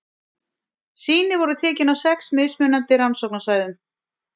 Sýni voru tekin á sex mismunandi rannsóknarsvæðum.